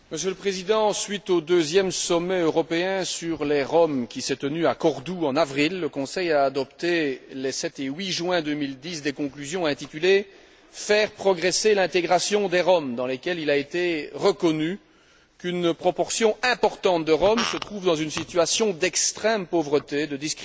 Suite au deuxième sommet européen sur les Roms, qui s'est tenu à Cordoue en avril, le Conseil a adopté, les 7 et 8 juin 2010, des conclusions intitulées Faire progresser l'intégration des Roms, dans lesquelles il a été reconnu qu'une proportion importante de Roms se trouve dans une situation d'extrême pauvreté, de discrimination